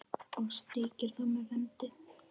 og strýkir þá með vendi.